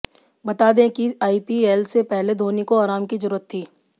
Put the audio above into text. बता दें कि आईपीएल से पहले धोनी को आराम की जरूरत थी